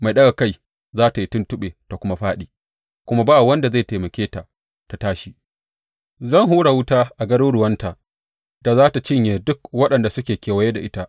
Mai ɗaga kai za tă yi tuntuɓe ta kuma fāɗi kuma ba wanda zai taimake ta tă tashi; zan hura wuta a garuruwanta da za tă cinye duk waɗanda suke kewaye da ita.